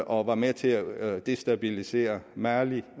og var med til at destabilisere mali